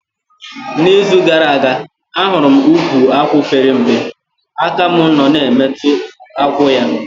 Na izu gara aga, ahụrụ m ukwu akwụ pere mpe, aka mụ nọ na emetụ akwụ ya